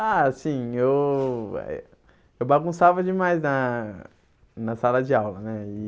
Ah, sim, eu eh eu bagunçava demais na na sala de aula, né? E